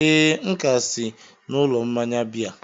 ee, m ka si n'ụlọ mmanya biya